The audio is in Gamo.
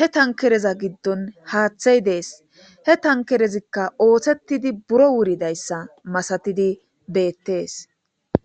he thankkereza giddon haaththaay dees; he thankkerezikka ooseththizi buro wuridayssa masathidi beeththees.